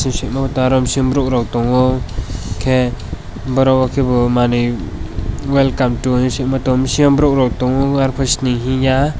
bisingo taromsim rok tango ke borok rok kebo manui lai kam tai bisingo tango sini hinya.